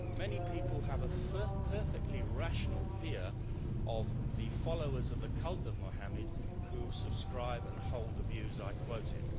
Many people have a perfectly rational fear of the followers of the cult of Mohammed who subscribe to and hold the views I quoted.